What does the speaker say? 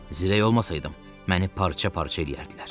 Zirəy olmasaydım, məni parça-parça eləyərdilər.